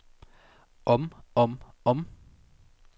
om om om